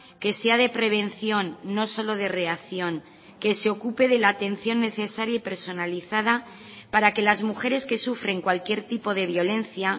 que sea de prevención no solo de reacción que se ocupe de la atención necesaria y personalizada para que las mujeres que sufren cualquier tipo de violencia